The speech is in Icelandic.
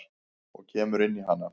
Og kemur inn í hana.